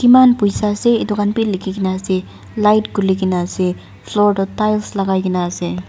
kiman poisa ase edu khan bi likh kaena ase light khulikaena ase floor toh tiles lakai kaena ase.